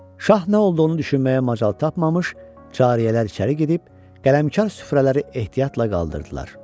Şah nə olduğunu düşünməyə macal tapmamış, çariyələr içəri gedib qələmkar süfrələri ehtiyatla qaldırdılar.